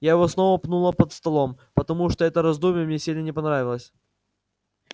я его снова пнула под столом потому что это раздумье мне сильно не понравилось